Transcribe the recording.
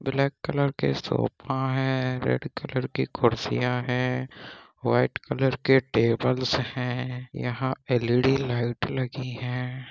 Black colour के sofa है red colour की कुर्सियां है व्हाइट कलर के टेबलस हैं एल_ई_डी लाइट लगी हैं।